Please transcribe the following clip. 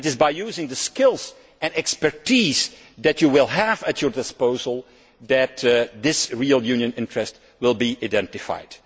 It is by using the skills and expertise that you will have at your disposal that this real Union interest will be identified.